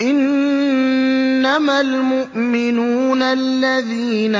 إِنَّمَا الْمُؤْمِنُونَ الَّذِينَ